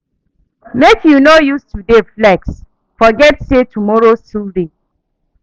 Make you no use today flex forget say tomorrow still dey.